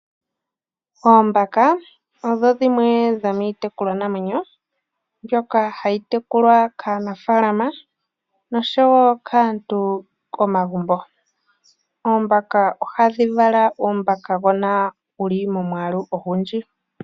Oombaka odho dhimwe dhomiitekulwanamwenyo ndyoka hayi tekulwa kaanafalama noshowo kaantu komagumbo. Oombaka ohadhi vala uumbaka uushona wuli momwaalu ogundji.